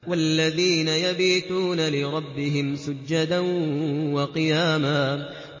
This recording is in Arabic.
وَالَّذِينَ يَبِيتُونَ لِرَبِّهِمْ سُجَّدًا وَقِيَامًا